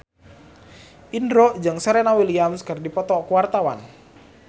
Indro jeung Serena Williams keur dipoto ku wartawan